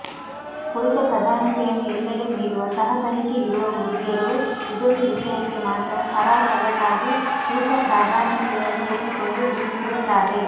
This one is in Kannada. ಪುರುಷ ಪ್ರಧಾನತೆಯನ್ನು ಎಲ್ಲೆಡೆ ಮೀರುವ ತಹತಹಿಕೆ ಇರುವ ಹುಡುಗಿಯರೂ ಇದೊಂದು ವಿಷಯಕ್ಕೆ ಮಾತ್ರ ಸಾರಾಸಗಟಾಗಿ ಪುರುಷ ಪ್ರಧಾನತೆಯನ್ನು ಒಪ್ಪಿಕೊಂಡುಬಿಟ್ಟುರುತ್ತಾರೆ